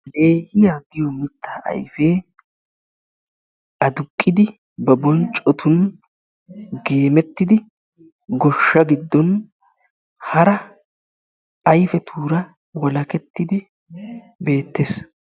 Leehiya giyo mittaa ayife aduqqidi ba bonccotun gemettiddi goshsha giddon hara ayifetuura walakettidi beettes.